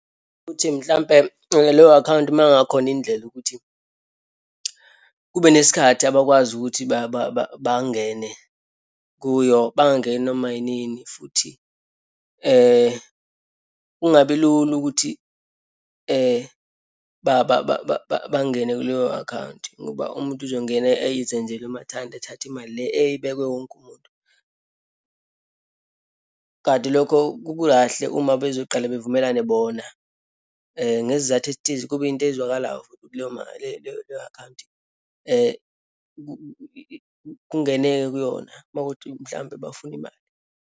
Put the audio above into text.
Ukuthi mhlampe leyo akhawunti uma kungakhona indlela ukuthi kube nesikhathi abakwazi ukuthi bangene kuyo, bangangeni noma yinini futhi kungabi lula ukuthi bangene kuleyo akhawunti, ngoba umuntu uzongena eyizenzele umathanda, athathe imali le eyibekwe wonke umuntu. Kanti lokho kukukahle, uma bezoqale bevumelane bona, ngesizathu esithize, kube into ezwakalayo futhi kuleyo mali, leyo leyo akhawunti. Kungeneke kuyona uma kuwukuthi mhlampe bafuna imali.